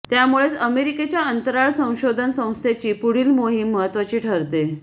त्यामुळेच अमेरिकेच्या अंतराळ संशोधन संस्थेची पुढली मोहीम महत्त्वाची ठरते